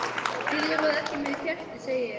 Þið eruð ekki með kerti, segi ég.